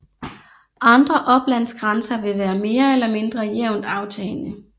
Andre oplandsgrænser vil være mere eller mindre jævnt aftagende